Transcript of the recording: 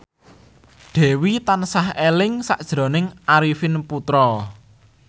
Dewi tansah eling sakjroning Arifin Putra